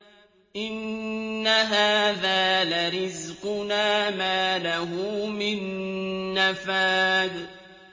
إِنَّ هَٰذَا لَرِزْقُنَا مَا لَهُ مِن نَّفَادٍ